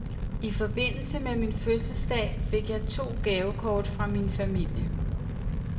I forbindelse med min fødselsdag fik jeg to gavekort fra min familie.